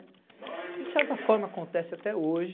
Que de certa forma acontece até hoje.